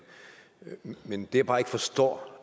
men det jeg bare ikke forstår